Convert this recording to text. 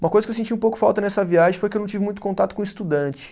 Uma coisa que eu senti um pouco falta nessa viagem foi que eu não tive muito contato com estudante.